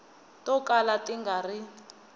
to kala ti nga ri